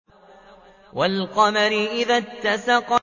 وَالْقَمَرِ إِذَا اتَّسَقَ